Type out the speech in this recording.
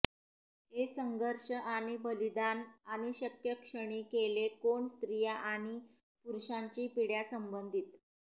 हे संघर्ष आणि बलिदान आणि शक्य क्षणी केले कोण स्त्रिया आणि पुरुषांची पिढ्या संबंधित